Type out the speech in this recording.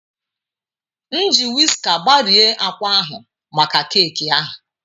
M ji wiska gbarie akwa ahụ maka keeki ahụ.